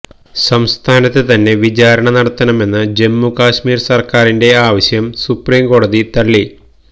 സംസ്ഥാനത്ത് തന്നെ വിചാരണ നടത്തണമെന്ന ജമ്മു കാശ്മീര് സര്ക്കാരിന്റെ ആവശ്യം സുപ്രീം കോടതി തള്ളി